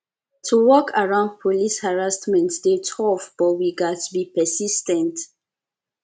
to work around police harassment dey tough but we gats be persis ten t